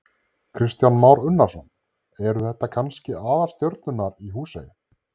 Kristján Már Unnarsson: Eru þetta kannski aðalstjörnunnar í Húsey?